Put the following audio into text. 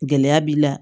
Gɛlɛya b'i la